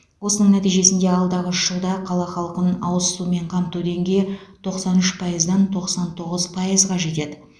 осының нәтижесінде алдағы үш жылда қала халқын ауыз сумен қамту деңгейі тоқсан үш пайыздан тоқсан тоғыз пайызға жетеді